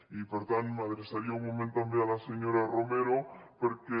i per tant m’adreçaria un moment també a la senyora romero perquè